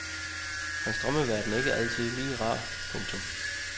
Hans drømmeverden er ikke altid lige rar. punktum